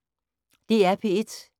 DR P1